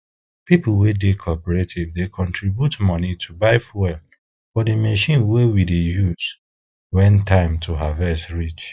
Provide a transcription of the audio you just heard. people wey dey cooperative dey contribute money to buy fuel for di machine wey we dey use when time to harvest reach